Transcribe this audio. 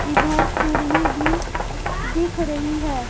इधर सीढ़ी भी दिख रही है।